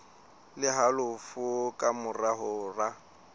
le halofo ka mora hora